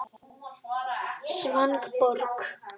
Svanborg